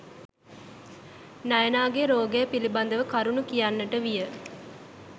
නයනාගේ රෝගය පිළිබදව කරුණු කියන්නට විය.